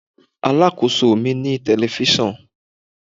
Alákóso mi ní telifíṣàn.